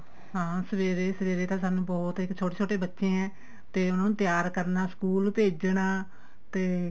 ਹਾਂ ਸਵੇਰੇ ਸਵੇਰੇ ਤਾਂ ਸਾਨੂੰ ਬਹੁਤ ਇੱਕ ਛੋਟੇ ਛੋਟੇ ਬੱਚੇ ਏ ਤੇ ਉਹਨਾ ਨੂੰ ਤਿਆਰ ਕਰਨਾ ਸਕੂਲ ਭੇਜਣਾ ਤੇ